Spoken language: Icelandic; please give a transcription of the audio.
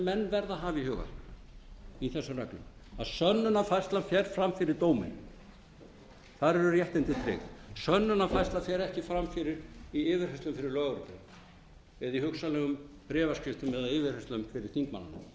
verða að hafa í huga í þessum reglum að sönnunarfærslan fer fram fyrir dóminum þar eru réttindin tryggð sönnunarfærsla fer ekki fram í yfirheyrslu fyrir lögreglunni eða í hugsanlegum bréfaskriftum eða yfirheyrslum fyrir